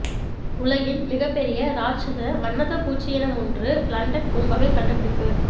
உலகின் மிகப் பெரிய இராட்சத வண்ணத்துப் பூச்சியினமொன்று லண்டன் பூங்காவில் கண்டுபிடிப்பு